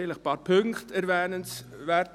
Ein paar Punkte sind erwähnenswert.